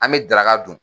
An bɛ daraka dun